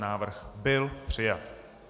Návrh byl přijat.